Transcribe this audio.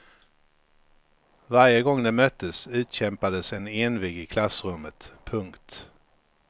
Varje gång de möttes utkämpades en envig i klassrummet. punkt